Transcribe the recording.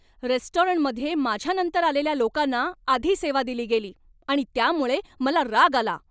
रेस्टॉरंटमध्ये माझ्यानंतर आलेल्या लोकांना आधी सेवा दिली गेली आणि त्यामुळे मला राग आला.